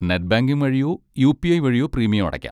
Net banking വഴിയോ UPI. വഴിയോ premium അടക്കാം.